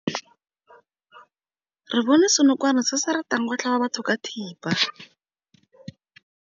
Re bone senokwane se se ratang go tlhaba batho ka thipa.